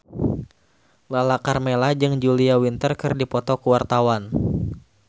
Lala Karmela jeung Julia Winter keur dipoto ku wartawan